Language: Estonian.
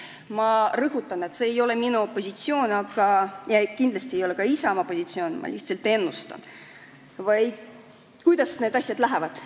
Ma rõhutan, et see ei ole minu positsioon ja kindlasti ei ole see ka Isamaa positsioon, ma lihtsalt ennustan, kuidas need asjad lähevad.